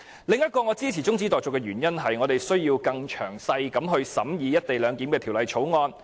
我支持中止待續的另一個原因，是我們需要更詳細審議《條例草案》。